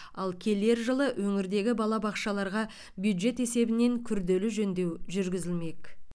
ал келер жылы өңірдегі балабақшаларға бюджет есебінен күрделі жөндеу жүргізілмек